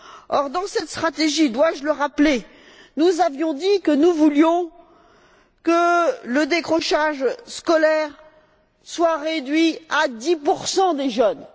Or, dans cette stratégie, dois je vous le rappeler, nous avions dit que nous voulions que le décrochage scolaire soit réduit à 10 des jeunes